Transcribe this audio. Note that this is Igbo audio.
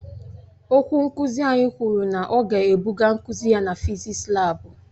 Okwu nkuzi anyị kwuru na ọ ga-ebuga nkuzi ya na fịzịksi laabu.